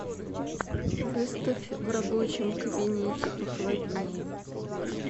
выставь в рабочем кабинете похолоднее